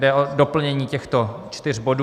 Jde o doplnění těchto čtyř bodů.